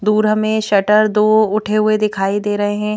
दूर हमें शटर दो उठे हुए दिखाई दे रहे है।